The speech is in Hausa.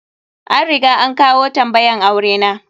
An riga an kawo tambayan aure na.